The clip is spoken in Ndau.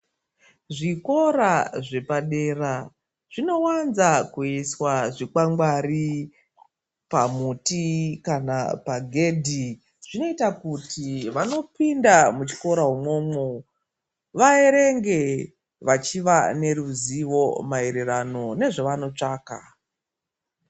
Zvikora zvepadera zvinowanza kuiswa zvikwangwari pamuti kana pagedhi zvinoita kuti vanopinda muchikora umwomwo vaerenge vachiza neruzivo maererano nezvavanotsvaka.